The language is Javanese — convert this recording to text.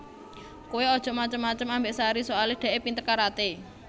Kowe ojok macem macem ambek Sari soale dekke pinter karate